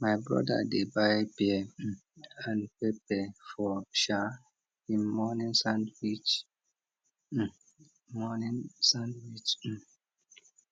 my brother dey buy pear um and pepper for um him morning sandwich um morning sandwich um